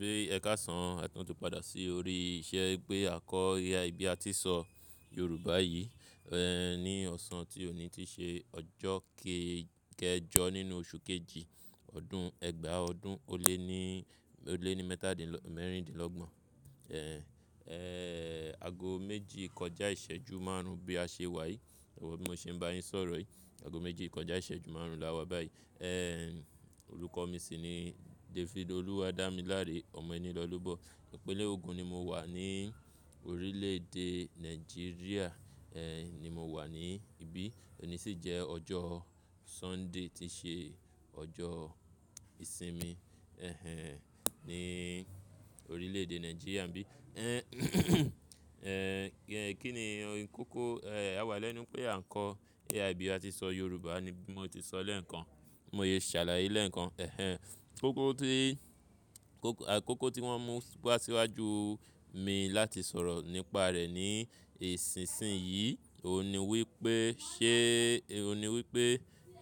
Bí ẹ káṣàn, a tun ti padà sí orí iṣẹ́ wipé à n kọ AI bí a ti n ṣọ Yorùbá yìí, ní ọ̀sán ti òní tii ṣe ọjọ́ kee kejọ nínú oṣù kejì ọdún ẹgbàá ọdún ó lé ní, o le ni metadinlo mẹ́rindínlọ́gbọ̀n. Ago méjì kọjá ìṣẹ́jú márùn-ún bí a ṣe wà yìí. Bí mo ṣe ń bá yín sọ̀rọ̀ yìí, ago méjì kọjá ìṣẹ́jú márùn-ún la wá báyìí. Orúkọ mi sì ni David Oluwadamilare ọmọ Enilolobo. Ìpínlẹ̀ Ogun ni mo wà ní orílẹ̀ èdè Nàìjíríà ni mo wà ní ibí. Òní sì jẹ́ ọjọ́ Sunday tií ṣe ọjọ́ ìsinmi ẹ́hẹ́n ní orílẹ̀ èdè Nàìjíríà n bí. Kíni n kókó, àwa lẹ́nu pé à ń kọ́ AI bí a ti n ṣọ Yorùbá ni bí mo ti ṣọ lẹ́ẹ̀kan. Bi mo sẹ́ ṣàlàyé lẹ́ẹ̀kan. Ẹ̀hẹ́n, koko ti, koko, kókó tí wọ́n mú wa síwájú mi láti sọ̀rọ̀ nípa rẹ̀ ní isìnsinyìí, òun ni wípé ṣe, òun ni wípé,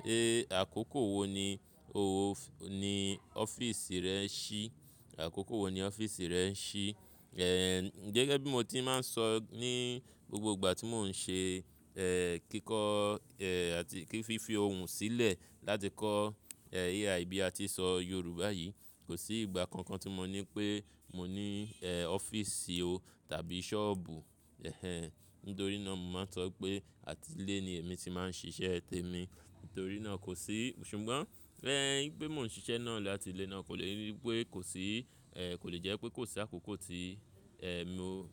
sẹ àkókò wo ni o ni ọ́fíìsì rẹ ń ṣí? Àkókò wo ni ọ́fíìsì rẹ ń ṣí? Gẹ́gẹ́ bí mo ti máa ń sọ ní gbogbo ìgbà tí mò ń ṣe kíkọ́ àti fífi ohùn sílẹ̀ láti kọ́ AI bí a ti ṣọ Yorùbá yìí, kò sí ìgbà kankan tí mo ní pé mo ní ọ́fíìsì o tàbí ṣọ́ọ̀bù. Ẹ̀hẹ́n, nítorí náà mo máa ń sọ wipé àti ilé ni èmi ti máa ń ṣiṣẹ́ tèmi. Nítorí náà kò sí-- ṣùgbọ́n wipé mò ń ṣiṣẹ́ náà láti ilé náà kò lè wípé kò sí, kò lè jẹ́ pé kò sí àkókò tí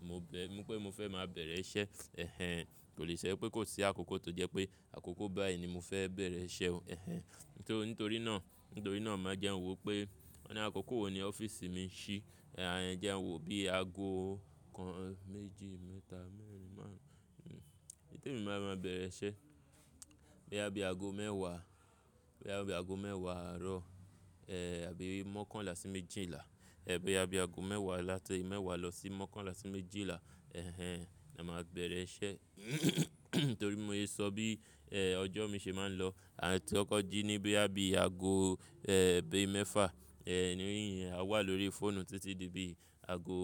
mo bẹ́, wípé mo fẹ́ máa bẹ̀rẹ̀ iṣẹ́. Ẹ̀hẹ́n, kò lè so wipé kò sí àkókò tó jẹ́ pé àkókò báyìí ni mo fẹ́ bẹ̀rẹ̀ iṣẹ́ o. Ẹ̀hẹ́n, nítorí nitori náà, nítorí náà máa jẹ n wò pé, wọ́n ni àkókò wo ni ọ́fíìsì mi ń ṣí? Jẹ n wò bí aago kan, méjì, mẹ́ta, mẹ́rin, márùn-ún. Temi ba máa bẹ̀rẹ̀ iṣẹ́ boya bií ago mẹ́wàá, boya bií ago mẹ́wàá àárọ̀, àbí mọ́kànlá sí méjìlá. Boya bií aago mẹ́wàá láti mẹ́wàá lọ sí mọ́kànlá sí méjìlá. Ẹ̀hẹ́n, là máa bẹ̀rẹ̀ iṣẹ́. Nítorí bi mo se sọ bí ọjọ́ mi ṣe máa ń lọ. Àa ti kọkọ̀ ji ni boya bíi aago bií mẹ́fà. Ninu iyen, àa wà lórí fóònù títí di bií aago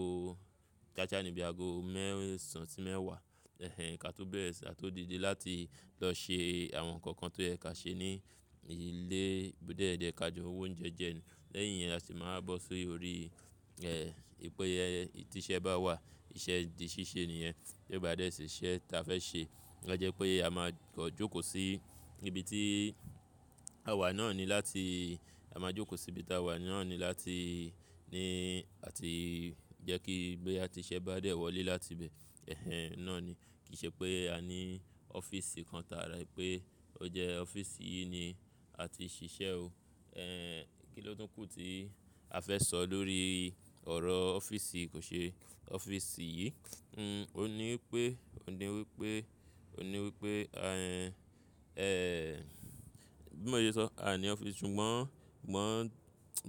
ka saa ní bií aago mẹ́sàn-án sí mẹ́wàá. Ẹ̀hẹ́n, ká tó bẹ́rẹ̀ sì ka tó dìde láti lọ ṣe àwọn nǹkan kan tó yẹ ka ṣe ní ilé, bo de je ká jọ woúnjẹ jẹ́ ni. Lẹ́yìn iyẹn a se máa wa bọ́ si órí wìpè tí iṣẹ́ bá wà, iṣẹ́ di ṣíṣe nìyẹn. Bí ó bá dé ṣì iṣẹ́ tí a fẹ́ ṣe. A jẹ́ pé a máa kan jókòó sí ibi tí a wà náà ni láti, a máa jókòó sí ibi tí a wà náà ni láti ní àti jẹ́ kí boya ti iṣe bá dé wọlé láti ibẹ̀. Ẹ̀hẹ́n, náà ni. Kì í ṣe pé a ní ọ́fíìsì kan tààrà wipé ó jẹ ọ́fíìsì yìí ni a ti n ṣiṣẹ́ o. Kí ló tún kù tí a fẹ́ sọ lórí ọ̀rọ̀ ọ́fíìsì kò ṣe ọ́fíìsì yìí? Òun ni wípé, òun ni wípé, òun ni wípé, bí mo sẹ sọ, aa ní ọ́fíìsì ṣùgbọ́n sugbon,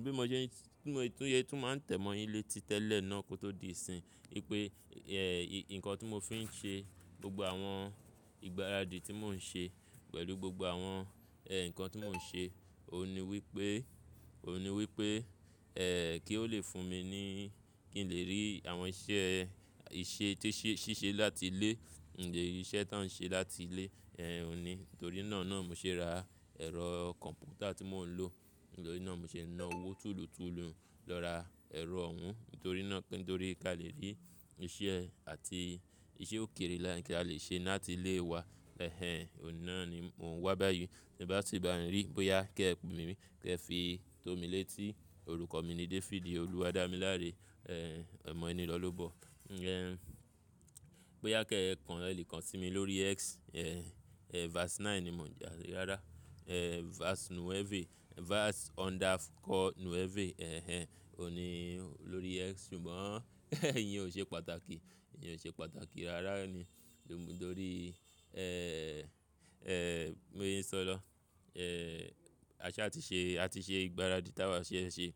bí mo se, bi mo tun se tun máa n tẹ̀ mọ́ yín létí tẹ́lẹ̀ náà kó tó di ìsìn. Wípé nǹkan tí mo fi ń ṣe gbogbo àwọn ìgbáradì tí mò ń ṣe pẹ̀lú gbogbo àwọn nǹkan tí mò ń ṣe, òun ni wípé, òun ni wípé, kí ó le fún mi ní kí n lè rí àwọn iṣẹ́, iṣẹ́ tí ṣíṣe láti ilé. Ìṣẹ́ ta ń ṣe láti ilé, òun ni. Nítorí naa náà n mo ṣe ra ẹ̀rọ kọ̀m̀pútà tí mò ń lò. Nítorí náà n mo ṣe na owó tuùlùtuùlu lọ ra ẹ̀rọ òun. Nítorí náà, nítorí ká lè rí iṣẹ́ àti iṣẹ́ òkèèrè ká lè ṣe láti ilé wa. Ẹ̀hẹ́n, òun náà ni mò ń wá báyìí. Bee bá si ba mi rí, bóyá kí ẹ pè mí, kí ẹ fi tó mi létí. Orúkọ mi ni David Oluwadamilare. Ọmọ Enilolobo. Bóyá kí ẹ kan ẹ le kan sí mi lórí X. Ẹ̀hn Verse9 ni mò ń je a rárá. Vars nueve, Vars underscore nueve. Ẹ̀hẹ́n, òun ni lórí X ṣùgbọ́n ìyẹn ò ṣe pàtàkì. Ìyẹn ò ṣe pàtàkì rárá ní. Nítorí bi mo se n sọ lọ. A ṣáa tí ṣe, a ti ṣe ìgbáradì tí awa fe ṣe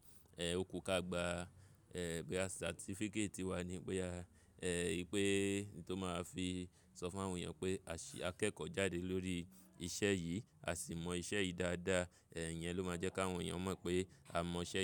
ò kú ká gba. Boya certificate wa ni pé a, wipé n tó máa fi sọ fún àwọn èèyàn pé a ṣe akẹ́kọ̀ọ́ jáde lórí iṣẹ́ yìí, a sì mọ iṣẹ́ yìí dáadáa. Ìyẹn ló máa jẹ́ kí àwọn èèyàn mọ̀ pé a mọ iṣẹ́ yìí.